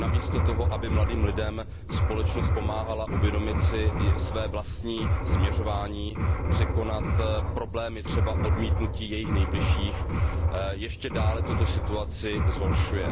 Namísto toho, aby mladým lidem společnost pomáhala uvědomit si své vlastní směřování, překonat problémy, třeba odmítnutí jejich nejbližších, ještě dále tuto situaci zhoršuje.